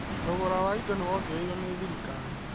Thogora wa indo nĩ wongereirwo nĩ thirikari